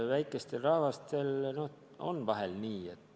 Väikestel rahvastel paraku on nii.